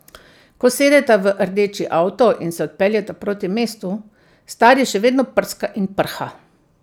Ko sedeta v rdeči avto in se odpeljeta proti mestu, stari še vedno prska in prha.